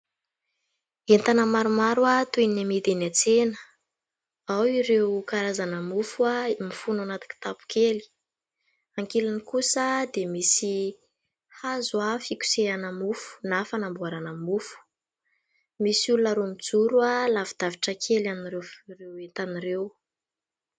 Entana maromaro toy ny amidy eny an-tsena. Ao ireo karazana mofo mifono ao anaty kitapo kely. Ankilany kosa dia misy hazo fikosehana mofo na fanamboarana mofo. Misy olona roa mijoro lavidavitra kely an'ireo entana ireo.